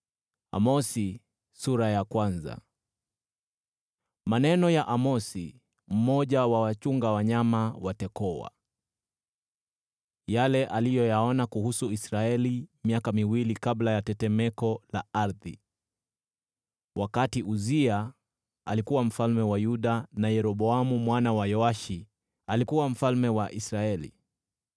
Maneno ya Amosi, mmoja wa wachunga wanyama wa Tekoa: yale aliyoyaona kuhusu Israeli miaka miwili kabla ya tetemeko la ardhi, wakati Uzia alikuwa mfalme wa Yuda, na Yeroboamu mwana wa Yehoashi alikuwa mfalme wa Israeli.